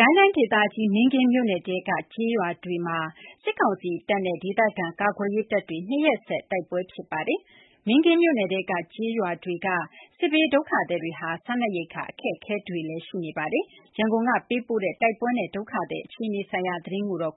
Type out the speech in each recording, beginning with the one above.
ကိုင်းတိုင်းဒေသကြီး မင်းကင်းမြို့နယ်ထဲက ကျေးရွာတွေမှာ စစ်ကောင်စီတပ်နဲ့ ဒေသခံကာကွယ်ရေး တပ်တွေ ၂ ရက်ဆက် တိုက်ပွဲဖြစ်ခဲ့ပါတယ်။ မင်းကင်းမြို့နယ်ထဲက ကျေးရွာ စစ်ဘေးဒုက္ခသည်တွေဟာ စားနပ်ရိက္ခာ အခက်အခဲတွေလည်း ရှိနေပါတယ်။ ရန်ကုန်က ပေးပို့လာတဲ့ တိုက်ပွဲနဲ့ဒုက္ခသည်အခြေအနေကို -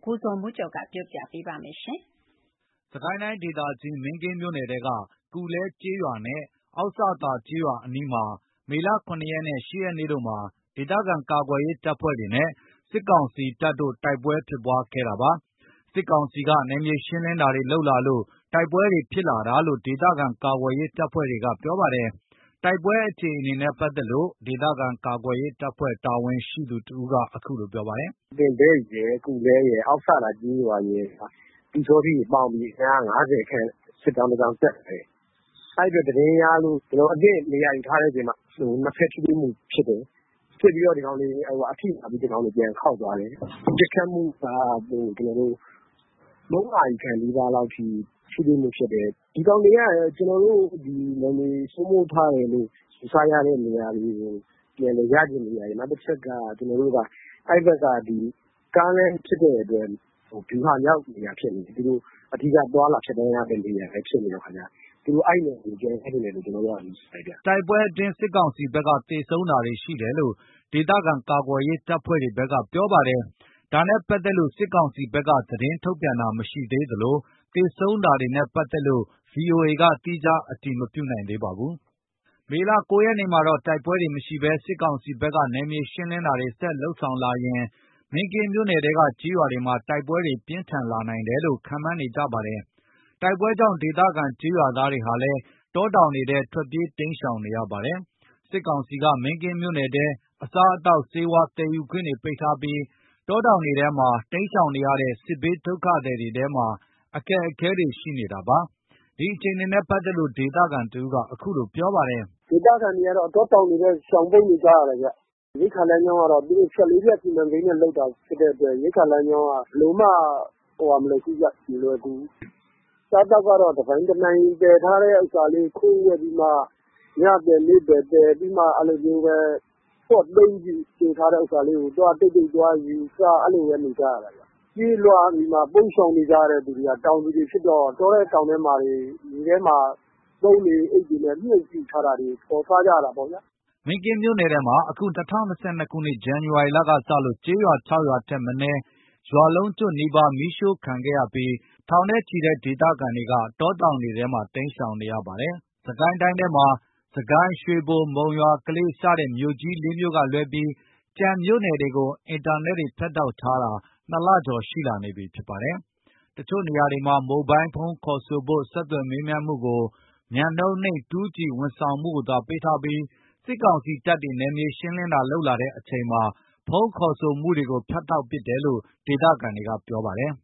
ကိုဇော်မိုးကျော် ကပြောပြပါမယ်။ စစ်ကိုင်းတိုင်း ဒေသကြီး မင်းကင်းမြို့နယ်ထဲက ကူလဲကျေးရွာနဲ့ အောက်စသာ ကျေးရွာအနီးမှာ မေလ ၇ ရက်နဲ့ ၈ ရက်တို့မှာ ဒေသခံကာကွယ်ရေး တပ်ဖွဲ့တွေနဲ့ စစ်ကောင်စီတို့ တိုက်ပွဲတွေဖြစ်ပွားခဲ့ပါတယ်။ စစ်ကောင်စီက နယ်မြေရှင်းလင်းတာတွေလုပ်လာလို့ တိုက်ပွဲတွေဖြစ်တာလို့ ဒေသခံကာကွယ်ရေး တပ်ဖွဲ့တွေက ပြောပါတယ်။ တိုက်ပွဲအခြေအနေနဲ့ ပတ်သက်လို့ ဒေသခံကာကွယ်ရေး တပ်ဖွဲ့က တာဝန်ရှိသူ တဦးကအခုလိုပြောပါတယ်။ “တင်ဘက် ၊ ကူလဲရယ် အောက်စသာ ကျေးရွာရယ်က ပျူစောထီးတွေပေါင်းပြီး အင်အား ၅၀ ခန့် စစ်ကြောင်း တကြောင်း တက်လာတယ်။ အဲ့အတွက် သတင်းရလို့ ကျွန်တော်တို့ အသင့်နေရာ ယူထားတဲ့အချိန်မှာ နှစ်ဖက် ထိတွေ့မှုဖြစ်တယ်။ ဖြစ်ပြီး အထိနာပြီး ဒီကောင်တွေပြန်ခေါက်သွားတယ်။ ပစ်ခတ်မှုက ၃ နာရီနီးပါးလောက်ထိ ထိတွေ့မှုဖြစ်တယ်။ ဒီကောင်တွေက ကျွန်တော်တို့ နယ်မြေစိုးမိုးမှုရယထားတယ်လို့ ယူဆရတဲ့နေရာတွေကို ပြန်လည်ရချင်တာရယ် နောက်တချက်က အဲ့ဘက်က ကားလမ်းဖြစ်တဲ့အတွက် ဗျူဟာမြောက်နေရာဖြစ်နေတယ်။ အဓိကသွားလာ ဖြတ်သန်းရမယ့် နေရာဖြစ်နေတော့ အဲ့နေရာကို ပြန်ရချင်လို့ လို့ပဲ ကျွန်တော်တို့ကထင်တယ်။” တိုက်ပွဲအတွင်း စစ်ကောင်စီဘက်က သေဆုံးတာတွေရှိတယ်လို့ ဒေသခံကာကွယ်ရေး တပ်ဖွဲ့တွေဘက်က ပြောပြီး ဒါနဲ့ပတ်သက်လို့ စစ်ကောင်စီဘက်က သတင်းထုတ်ပြန်တာမရှိသေးသလို သေဆုံးတာတွေနဲ့ ပတ်သက်လို့ ဗွီအိုအေက သီးခြားအတည်မပြုနိုင်ပါဘူး။ မေလ ၉ ရက် နေ့မှာတော့ တိုက်ပွဲတွေ မရှိဘဲ စစ်ကောင်စီဘက်က နယ်မြေရှင်းလင်းတာတွေ ဆက်လက်လုပ်ဆောင်လာရင် မင်းကင်းမြို့နယ်ထဲက ကျေးရွာတွေမှာ တိုက်ပွဲတွေ ပြင်းထန်လာနိုင်တယ်လို့ ခန့်မှန်းနေကြပါတယ်။ တိုက်ပွဲကြောင့် ဒေသခံကျေးရွာသားတွေဟာလည်း တောတောင်တွေထဲ ထွက်ပြေး တိမ်းရှောင်နေရပါတယ်။ စစ်ကောင်စီက မင်းကင်းမြို့နယ်ထဲ အစားအသောက်ဆေးဝါး သယ်ယူခွင့်တွေပိတ်ထားပြီး တောတောင်ထဲတွေမှာ တိမ်းရှောင်နေရတဲ့ စစ်ဘေးဒုက္ခသည်တွေမှာ အခက်အခဲတွေရှိနေတာပါ။ ဒီအခြေအနေနဲ့ ပတ်သက်လို့ ဒေသခံတဦးက အခုလိုပြောပါတယ်။ “တောတောင်တွေထဲ ရှောင်ပုန်းနေကြရတယ်။ ရိက္ခာလမ်းကြောင်းက သူတို့ ဖြတ် ၄ ဖြတ် စီမံကိန်းနဲ့ လုပ်တာ ဖြစ်တဲ့အတွက် ရိက္ခာလမ်းကြောင်းက ဘယ်လိုမှ မလွယ်ကူဘူး။ အစားအသောက်က တပိုင်တနိုင် သယ်ထားတဲ့ဟာလေး ခူးခပ်ပြီးမှ ညသယ်နေ့သယ် သယ်ပြီးမှ အဲ့လိုမျိုးပဲ ဖွက်သိမ်းထားတဲ့ဟာလေးတွေ တိတ်တိတ်သွားယူစား အဲ့လိုပဲ နေနေကြရတယ်။ ပြေးလွှားပြီး ပုန်းရှောင်နေရတဲ့သူတွေက တောင်သူတွေဖြစ်တော့ တောထဲတောင်ထဲမှာ ပုံးတွေအိတ်တွေနဲ့မြှုပ်ပြီးတော့ စုထားတာတွေ ဖော်စားကြရတာပေါ့။” မင်းကင်းမြို့နယ်ထဲမှာ အခု၂၀၂၂ ဇန်နဝါရီကစလို့ ကျေးရွာ ၆ ရွာထက်မနည်း ရွာလုံးကျွတ်နီးပါး မီးရှို့ခံခဲ့ရပြီး ထောင်နဲ့ချီတဲ့ ဒေသခံတွေက တောတောင်တွေထဲမှာ တိမ်းရှောင်နေရပါတယ်။ စစ်ကိုင်းတိုင်းထဲမှာ စစ်ကိုင်း ရွှေဘို မုံရွာ ကလေး စတဲ့ မြို့ကြီး ၄ မြို့ကလွဲပြီး ကျန်မြို့နယ်တွေကို အင်တာနက်တွေ ဖြတ်တောက်ထားတာ ၂ လ ကျော်ရှိလာနေပြီဖြစ်ပါတယ်။ တချို့နေရာတွေမှာ မိုဘိုင်းဖုန်းခေါ်ဆိုဆက်သွယ်မှုကို မြန်နှုန်းနိမ့် 2G ဝန်ဆောင်မှုကိုသာ ပေးထားပြီး စစ်ကောင်စီ တပ်တွေ နယ်မြေရှင်းလင်းတာလုပ်လာတဲ့အချိန်မှာ ဖုန်းခေါ်ဆိုမှုတွေကို ဖြတ်တောက်ပစ်တယ်လို့ ဒေသခံတွေက ပြောပါတယ်။